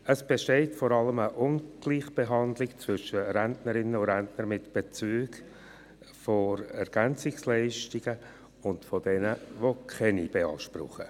Es besteht vor allem eine Ungleichbehandlung von Rentnerinnen und Rentner mit Bezügen von EL gegenüber jenen, welche keine beanspruchen.